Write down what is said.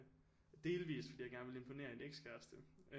Delvist fordi jeg gerne ville imponere en ekskæreste